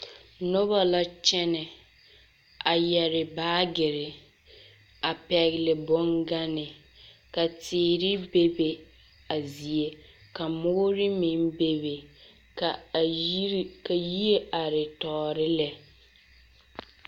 Noba la kyԑnԑ a yԑre baagere, a pԑgele boŋganne, ka teere be a zie ka mõõre meŋ bebe ka yire are tͻͻre lԑ.